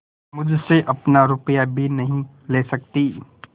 मुझसे अपना रुपया भी नहीं ले सकती